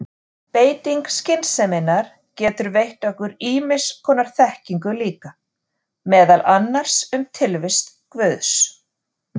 Beiting skynseminnar getur veitt okkur ýmiss konar þekkingu líka, meðal annars um tilvist guðs.